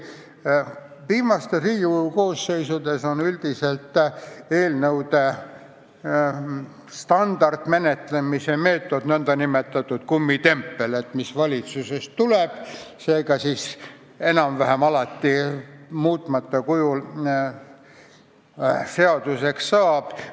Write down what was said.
Viimastes Riigikogu koosseisudes on üldiselt eelnõude standardmenetlemise meetod nn kummitempel, et mis valitsusest tuleb, see ka enam-vähem alati muutmata kujul seaduseks saab.